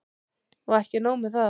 Og ekki nóg með það.